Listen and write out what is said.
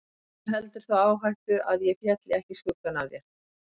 Öllu heldur þá áhættu að ég félli ekki í skuggann af þér.